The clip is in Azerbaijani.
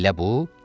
Elə bu.